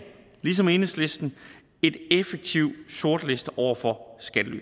ligesom enhedslisten en effektiv sortliste over for skattely